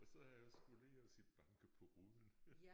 Og så har jeg skullet lære at sige banke på ruden